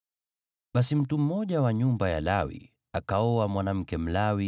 Basi mtu mmoja wa nyumba ya Lawi akaoa mwanamke Mlawi,